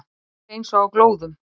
Að vera eins og á glóðum